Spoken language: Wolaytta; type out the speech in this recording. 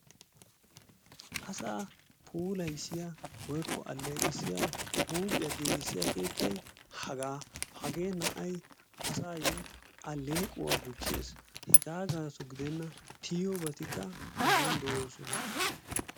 Asaa puulayissiya woykko aleeqissiya huuphiya giigissiya keettay hagaa hagee na'ay asaayo aleequwa gujees, heegaa gaaso gidennan tiyiyoobatikka a soni de'oosona.